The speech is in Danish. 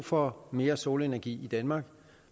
for mere solenergi i danmark